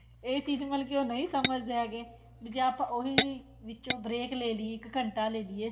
ਇਹ ਚੀਜ਼ ਮਤਲਬ ਕੀ ਉਹ ਨਹੀਂ ਸਮਝਦੇ ਹੈਗੇ ਵੀ ਜੇ ਆਪਾਂ ਉਹੀ ਵਿੱਚੋ break ਇੱਕ ਘੰਟਾ ਲੈ ਲਈਏ